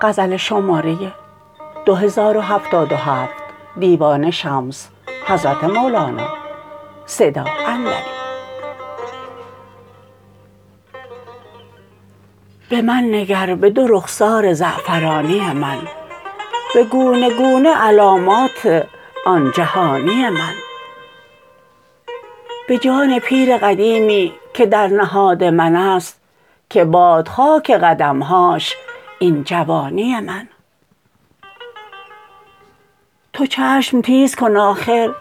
به من نگر به دو رخسار زعفرانی من به گونه گونه علامات آن جهانی من به جان پیر قدیمی که در نهاد من است که باد خاک قدم هاش این جوانی من تو چشم تیز کن آخر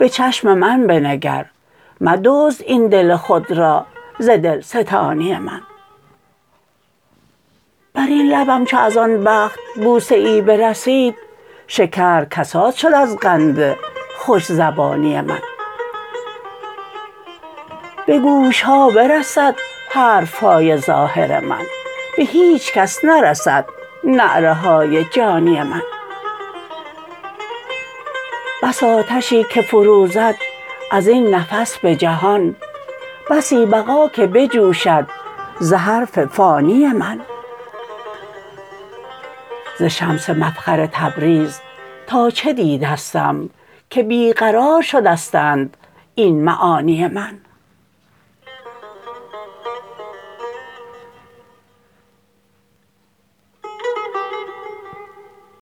به چشم من بنگر مدزد این دل خود را ز دلستانی من بر این لبم چو از آن بخت بوسه ای برسید شکر کساد شد از قند خوش زبانی من به گوش ها برسد حرف های ظاهر من به هیچ کس نرسد نعره های جانی من بس آتشی که فروزد از این نفس به جهان بسی بقا که بجوشد ز حرف فانی من ز شمس مفخر تبریز تا چه دیدستم که بی قرار شدستند این معانی من